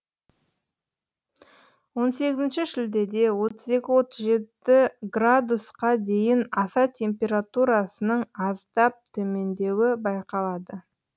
он сегізінші шілдеде отыз екі отыз жеті градусқа қа дейін аса температурасының аздап төмендеуі байқалады